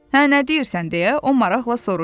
Hə nə deyirsən deyə o maraqla soruşdu.